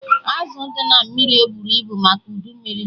Azụ dị na mmiri eburọ ibu maka udu mmiri